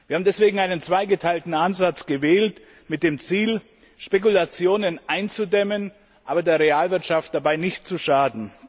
Wir haben deswegen einen zweigeteilten Ansatz mit dem Ziel gewählt, Spekulationen einzudämmen, aber der Realwirtschaft dabei nicht zu schaden.